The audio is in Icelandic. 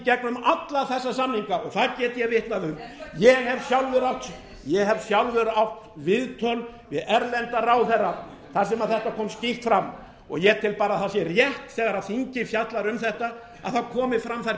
gegnum alla þessa samninga og það get ég vitnað um ég hef sjálfur átt viðtöl við erlenda ráðherra þar sem þetta kom skýrt fram og ég tel bara að það sé rétt þegar þingið fjallar um þetta að það komi fram þær